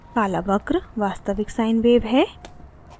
काला वक्र वास्तविक sine wave है